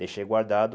Deixei guardado